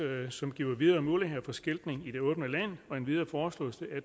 som giver bedre muligheder for skiltning i det åbne land endvidere foreslås